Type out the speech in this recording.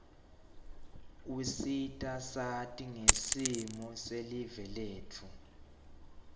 usita sati ngesimo silive letfu